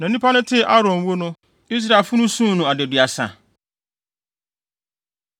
na nnipa no tee Aaron wu no, Israelfo no suu no adaduasa.